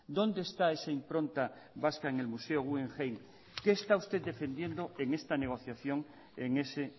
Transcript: dónde está esa impronta vasca en el museo guggenheim qué está usted defendiendo en esta negociación en ese